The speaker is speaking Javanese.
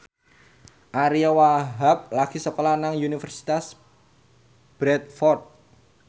Ariyo Wahab lagi sekolah nang Universitas Bradford